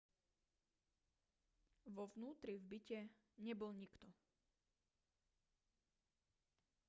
vo vnútri v byte nebol nikto